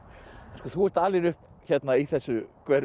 þú ert alin upp hérna í þessu hverfi